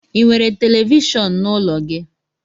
Ị nwere televishon n'ụlọ gị?